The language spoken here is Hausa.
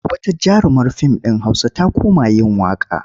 Wata jarumar fim ɗin Hausa ta koma yin waƙa.